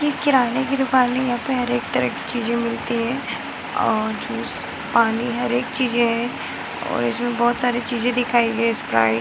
ये किराने की दूकान है यहाँ पर हर एक तरह की चीज़े मिलती है और जूस पानी हर एक चीजे है और इसमें बहुत सारी चीज़े दिखाई दे रही है स्प्राइट --